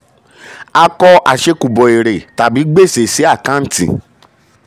a kọ àṣẹ̀kùbọ̀ èrè tàbí gbèsè sí àkáǹtì.